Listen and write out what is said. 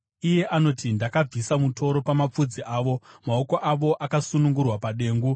Iye anoti, “Ndakabvisa mutoro pamapfudzi avo; maoko avo akasunungurwa padengu.